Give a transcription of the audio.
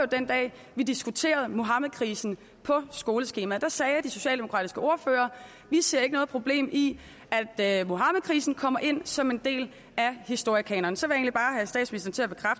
den dag vi diskuterede muhammedkrisen på skoleskemaet der sagde de socialdemokratiske ordførere vi ser ikke noget problem i at muhammedkrisen kommer ind som en del af historiekanonen så